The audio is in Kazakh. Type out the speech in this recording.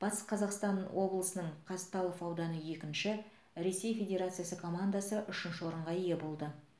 батыс қазақстан облысының қазталов ауданы екінші ресей федерациясы командасы үшінші орынға ие болды